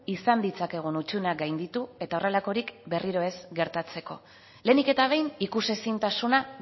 izan ditzakegun hutsuneak gainditu eta horrelakorik berriro ez gertatzeko lehenik eta behin ikusezintasuna